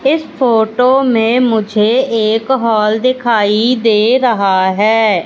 इस फोटो में मुझे एक हॉल दिखाई दे रहा हैं।